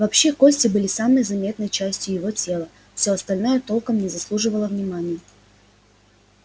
вообще кости были самой заметной частью его тела всё остальное толком не заслуживало внимания